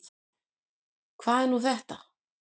Hvað er nú þetta?